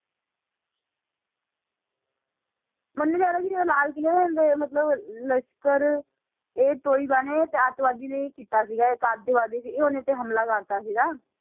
ਮੰਨਿਆ ਜਾਂਦਾ ਸੀ ਜਿਹੜਾ ਲਾਲ ਕਿਲ੍ਹਾ ਦੇ ਮਤਲਬ ਲਸ਼ਕਰ ਏ ਤੋਹੀਬਾ ਨੇ ਆਤੰਕਵਾਦੀ ਨੇ ਇਹ ਕੀਤਾ ਸੀਗਾ ਇੱਕ ਆਤੰਕਵਾਦੀ ਸੀ ਉਹਨੇ ਇਹ ਤੇ ਹਮਲਾ ਕਰ ਦਿੱਤਾ ਸੀਗਾ